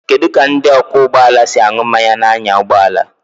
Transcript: Kedu ka ndị ọkwọ ụgbọ ala si aṅụ mmanya na-anya ụgbọ ala?